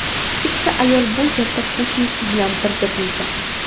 Keksa ayol bu yerda qo‘shnisi bilan birga bo‘lgan.